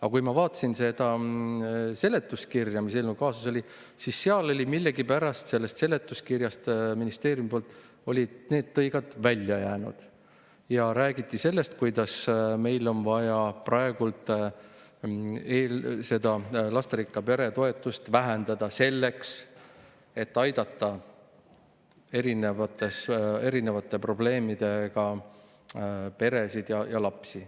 Aga kui ma vaatasin seda seletuskirja, mis eelnõuga kaasas oli, siis sellest olid need tõigad ministeeriumi poolt millegipärast välja jäänud ja räägiti sellest, kuidas meil on vaja seda lasterikka pere toetust praegu vähendada, selleks et aidata erinevate probleemidega peresid ja lapsi.